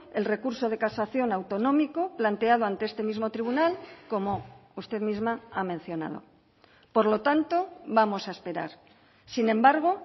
el recurso de casación autonómico planteado ante este mismo tribunal como usted misma ha mencionado por lo tanto vamos a esperar sin embargo